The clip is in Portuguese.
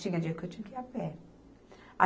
Tinha dia que eu tinha que ir a pé.